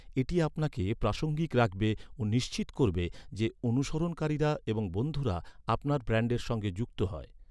এটি আপনাকে প্রাসঙ্গিক রাখবে ও নিশ্চিত করবে যে অনুসরণকারীরা এবং বন্ধুরা আপনার ব্র্যান্ডের সঙ্গে যুক্ত হয়।